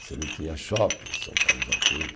Você não tinha shopping, São Paulo já tinha.